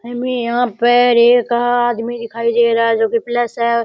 हमे यहा पर एक आदमी दिखाई दे रहा है जो की प्लस है।